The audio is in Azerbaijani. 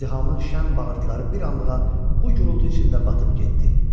İzdihamın şənlə bağırışları bir anlığa bu gurultu içində batıb getdi.